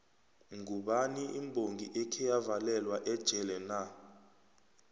mgubani imbongi ekheyavalelwa ejele na